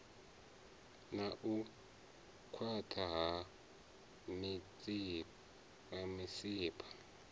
na u khwaṱha ha misipha